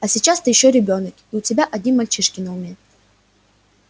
а сейчас ты ещё ребёнок и у тебя одни мальчишки на уме